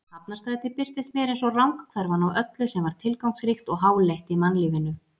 Hafnarstræti birtist mér einsog ranghverfan á öllu sem var tilgangsríkt og háleitt í mannlífinu.